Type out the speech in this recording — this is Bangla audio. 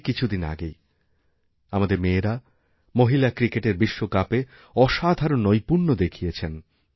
এই কিছুদিন আগেই আমাদেরমেয়েরা মহিলা ক্রিকেটের বিশ্বকাপে অসাধারণ নৈপুণ্য দেখিয়েছেন